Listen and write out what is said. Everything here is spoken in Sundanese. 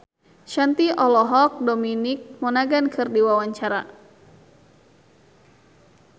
Shanti olohok ningali Dominic Monaghan keur diwawancara